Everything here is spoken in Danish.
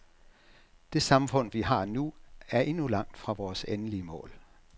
Det samfund vi har nu, er endnu langt fra vores endelige mål.